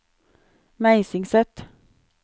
Meisingset